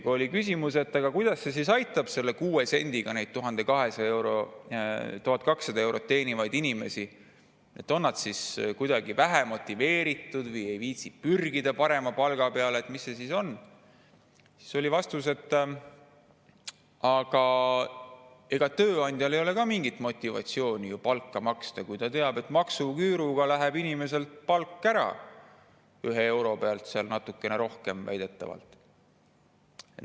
Kui küsiti, kuidas see 6 senti aitab neid inimesi, kes teenivad 1200 eurot, kas nad on olnud kuidagi vähe motiveeritud või ei viitsi pürgida parema palga peale või mis see on, siis oli vastus, et ega tööandjal ei ole ka mingit motivatsiooni palka maksta, kui ta teab, et maksuküür inimese palga iga euro pealt väidetavalt natukene rohkem ära.